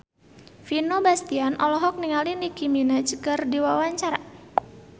Vino Bastian olohok ningali Nicky Minaj keur diwawancara